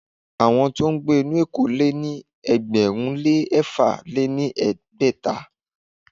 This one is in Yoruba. Àwọn tí ó ń gbé nínú éko lé ní ẹgbẹ̀rún lé ẹ̀fà lé ní ẹgbẹ́ta.